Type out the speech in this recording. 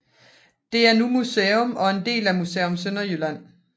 Det er nu museum og en del af Museum Sønderjylland